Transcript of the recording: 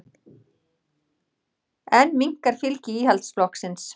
Enn minnkar fylgi Íhaldsflokksins